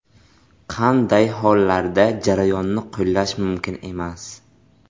Qanday hollarda jarayonni qo‘llash mumkin emas?